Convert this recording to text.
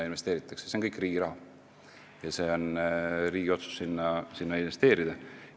See kõik on riigi raha ja see on riigi otsus sinna investeerida.